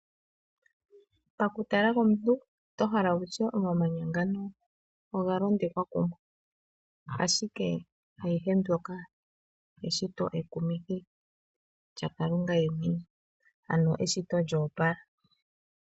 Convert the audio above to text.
Paku tala komuntu oto hala wutye omamanya ngano oga londekwa kumwe ,ashike ayihe mbyoka eshito ekumithi lyaKalunga yemwene ano eshito lyoopala.